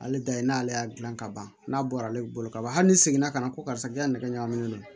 Ale da ye n'ale y'a dilan ka ban n'a bɔra ale bolo ka ban hali ni seginna ka na ko karisa k'i ka nɛgɛ ɲagami n'o ye